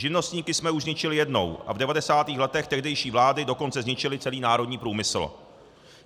Živnostníky jsme už zničili jednou, a v 90. letech tehdejší vlády dokonce zničily celý národní průmysl.